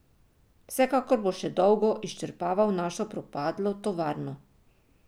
Vsekakor bo še dolgo izčrpaval našo propadlo tovarno.